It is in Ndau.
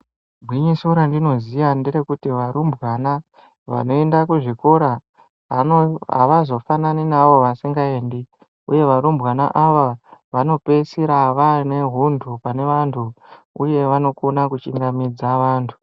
Gwinyiso randino ziya nderekuti varumbwana vanoenda ku zvikora havazo fanani ne avo vasinga endi uye varumbwana ava vano peesira vane huntu pane vantu uye vanokona ku chingamidza vantu.